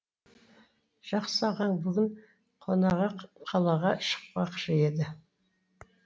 жақсы ағаң бүгін қонаға қалаға шықпақшы еді